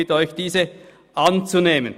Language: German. Ich bitte Sie, diesen anzunehmen.